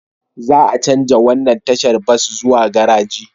Za a chanja wannan tashar bas zuwa garaji